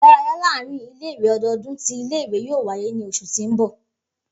Idaraya laarin ile-iwe ọdọọdun ti ile-iwe yoo waye ni oṣu ti n bọ.